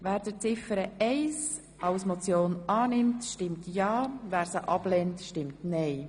Wer Ziffer 1 als Motion annimmt, stimmt ja, wer sie ablehnt, stimmt nein.